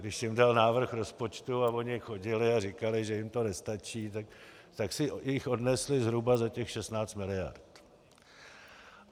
Když jim dal návrh rozpočtu a oni chodili a říkali, že jim to nestačí, tak si jich odnesli zhruba za těch 16 mld.